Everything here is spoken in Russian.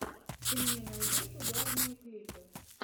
ты мне найдешь угарные клипы